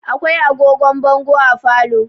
Akwai agogon bongo a falo.